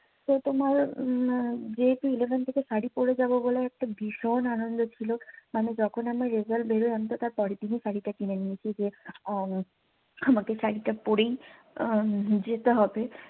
তো তোমার উম যেহেতু eleven থেকে শাড়ি পড়ে যাবো বলে একটা ভীষণ আনন্দ ছিলো মানে যখন আমার রেজাল্ট বেরয় আমি তো তার পরের দিনই শাড়িটা কিনে নিয়েছি যে উম আমাকে শাড়িটা পড়েই আহ যেতে হবে